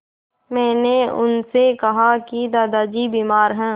मैंने उनसे कहा कि दादाजी बीमार हैं